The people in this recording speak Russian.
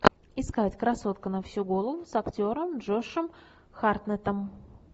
искать красотка на всю голову с актером джошем хартнеттом